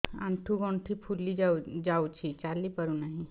ଆଂଠୁ ଗଂଠି ଫୁଲି ଯାଉଛି ଚାଲି ପାରୁ ନାହିଁ